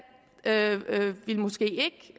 måske